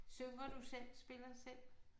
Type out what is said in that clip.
Synger du selv spiller selv?